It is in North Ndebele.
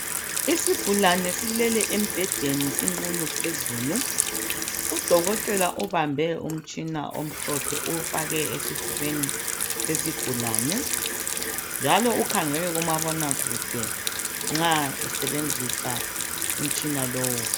Isigulani silele embhedeni sinqunu phezulu udokotela ubambe umtshina omhlophe uwufake esifubeni sesigulani njalo ukhangele kumabonakude nxa esebenzisa umtshina lowo